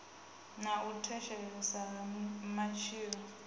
na u thithisea ha matshilo